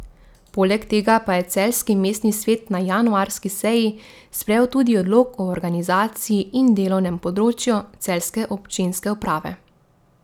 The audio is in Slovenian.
Poleg tega pa je celjski mestni svet na januarski seji sprejel tudi odlok o organizaciji in delovnem področju celjske občinske uprave.